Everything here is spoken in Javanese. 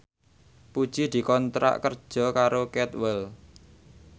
Puji dikontrak kerja karo Cadwell